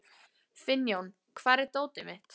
Finnjón, hvar er dótið mitt?